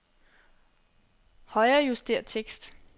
Højrejuster tekst.